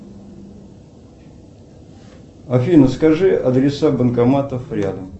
афина скажи адреса банкоматов рядом